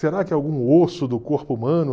Será que é algum osso do corpo humano?